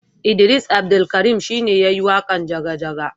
Idris Abdulkarim shi ne ya yi waƙan jaga jaga